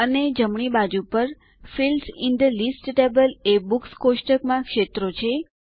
અને જમણી બાજુ પર fields in the list table એ બુક્સ કોષ્ટકમાં ક્ષેત્રો છે